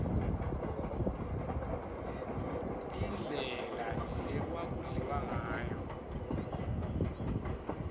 indlela lekwaku dliwangayo